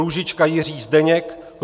Růžička Jiří Zdeněk